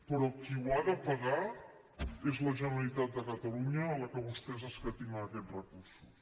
però qui ho ha de pagar és la generalitat de catalunya a la que vostès escatimen aquests recursos